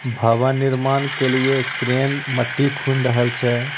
भवन निर्माण के लिए एक एक क्रेन मिट्टी खून राहयेल छे।